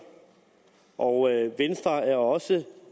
og venstre er også